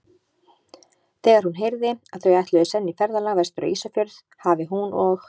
Þegar hún heyrði, að þau ætluðu senn í ferðalag vestur á Ísafjörð, hafi hún og